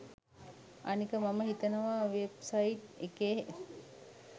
අනික මම හිතනවා වෙබ්සයිට් එකේ